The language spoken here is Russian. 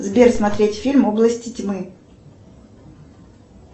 сбер смотреть фильм области тьмы